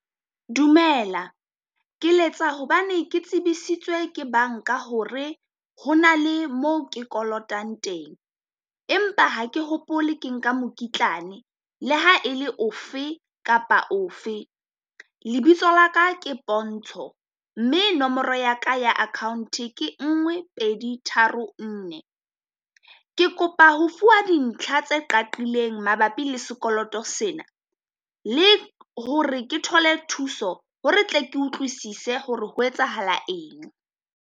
Dumela ke letsa hobane ke tsebisitswe ke banka hore ho na le moo ke kolotang teng, empa ha ke hopole ke nka mokitlane le ha e le ofe kapa ofe. Lebitso la ka ke Pontsho, mme nomoro ya ka ya account-e ke ngwe pedi tharo nne. Ke kopa ho fuwa dintlha tse qakileng mabapi le sekoloto sena, le hore ke thole thuso hore tle ke utlwisise hore ho etsahala eng.